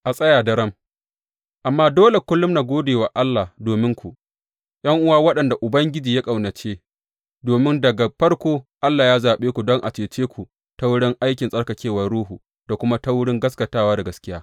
A tsaya daram Amma dole kullum mu gode wa Allah dominku, ’yan’uwa waɗanda Ubangiji ya ƙaunace, domin daga farko Allah ya zaɓe ku don a cece ku ta wurin aikin tsarkakewar Ruhu da kuma ta wurin gaskatawa da gaskiya.